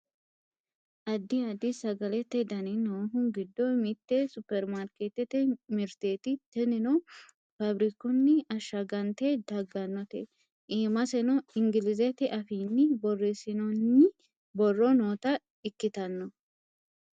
addi additi sagalete dani noohu giddo mitte supperimarkeettete mirteeti tinino faabirikunni ashshagante daggannote iimaseno ingilizete afiinni borreessinoonni borro noota ikkitano